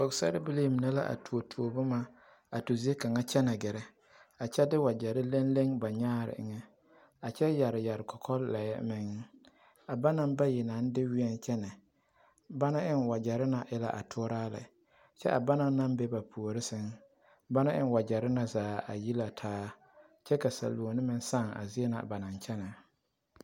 Pɔgebilii mine la are tuotuo boma a tu zie kaŋa kyɛne gɛrɛ a kyɛ de wagyɛrɛ leŋleŋe ba nyaa eŋ a kyɛ yɛre yɛre kɔkɔlɛɛ meŋ a banaŋ bayi naŋ de wĩɛ kyɛne ba na eŋ wagyɛrɛ na e la a toraa lɛ kyɛ a banaŋ naŋ be ba puure saŋ banaŋ eŋ wagyɛrɛ na zaa yi la taa kyɛ ka saluoni meŋ sãã a zie na ba naŋ kyɛne .